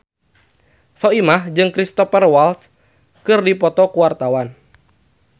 Soimah jeung Cristhoper Waltz keur dipoto ku wartawan